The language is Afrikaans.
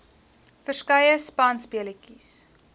verskeie spanspe letjies